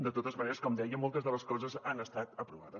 de totes maneres com deia moltes de les coses han estat aprovades